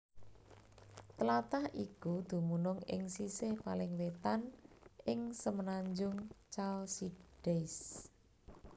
Tlatah iku dumunung ing sisih paling wétan ing semenanjung Chalcidice